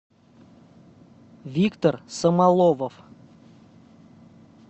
виктор самоловов